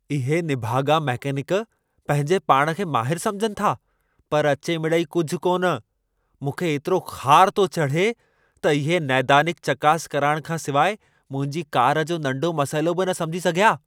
इहे निभाॻा मकेनिक पंहिंजे पाण खे माहिर समुझनि था पर अचे मिड़ेई कुझु कोन. मूंखे एतिरो ख़ारु थो चढे़ त इहे ऽनैदानिक चकासऽ कराइण खां सिवाइ मुंहिंजी कार जो नंढो मसइलो बि न समिझी सघिया।